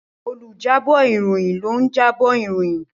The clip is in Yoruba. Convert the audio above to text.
Olùjábọ̀ ìròyìn ló ń jábọ̀ ìròyìn.